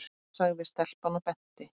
sagði stelpan og benti.